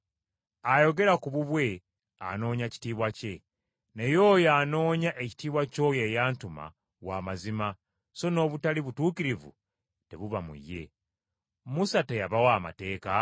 Ayogera ku bubwe anoonya kitiibwa kye, naye oyo anoonya ekitiibwa ky’oyo eyantuma wa mazima so n’obutali butuukirivu tebuba mu ye. Musa teyabawa amateeka?